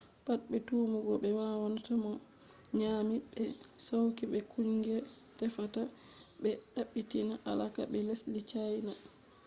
pat be tumugo be wannata mo ma nyami be sauki be kungiya tefata ɓe ɓaditina alaka be lesdi cayna